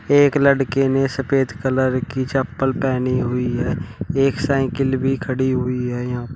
एक लड़के ने सफेद कलर की चप्पल पहनी हुई है एक साइकिल भी खड़ी हुई है यहां--